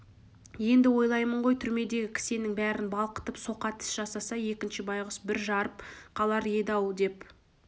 енді ойлаймын ғой түрмедегі кісеннің бәрін балқытып соқа тіс жасаса егінші байғұс бір жарып қалар еді-ау деп